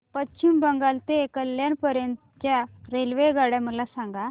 पश्चिम बंगाल ते कल्याण पर्यंत च्या रेल्वेगाड्या मला सांगा